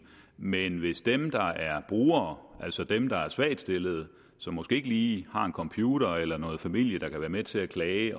men hvis dem der er brugere altså dem der er svagtstillede som måske ikke lige har en computer eller noget familie der kan være med til at klage